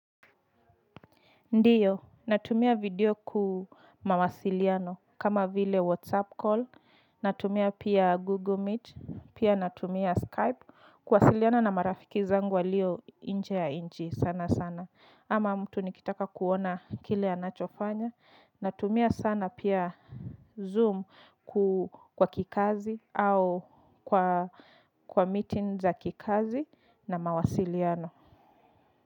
Ndiyo, natumia video ku mawasiliano kama vile whatsapp call, natumia pia google meet, pia natumia skype, kuwasiliana na marafiki zangu walio nje ya nchi sana sana. Ama mtu nikitaka kuona kile anachofanya, natumia sana pia zoom kwa kikazi au kwa meeting za kikazi na mawasiliano.